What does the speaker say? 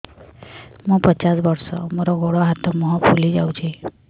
ମୁ ପଚାଶ ବର୍ଷ ମୋର ଗୋଡ ହାତ ମୁହଁ ଫୁଲି ଯାଉଛି